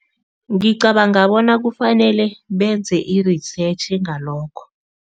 Ngicabanga bona kufanele benze i-research ngalokho.